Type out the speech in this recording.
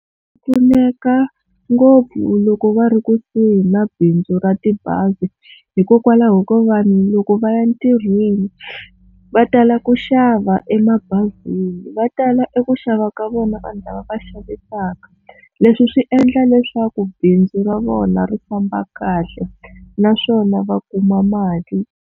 U pfuneka ngopfu loko va ri kusuhi na bindzu ra tibazi hikokwalaho ko vanhu loko va ya ntirhweni va tala ku xava emabazini va tala eku xava ka vona vanhu lava va xavisaka, leswi swi endla leswaku bindzu ra vona ri famba kahle naswona va kuma mali.